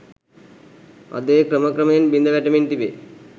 අද එය ක්‍රම ක්‍රමයෙන් බිඳ වැටෙමින් තිබේ.